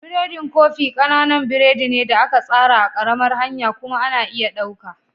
Biredin kofi ƙananan biredi ne da aka tsara a ƙaramar hanya kuma ana iya ɗauka.